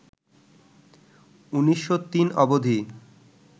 ১৯০৩ অবধি